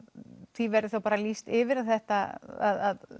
því verðir þá bara lýst yfir að þetta að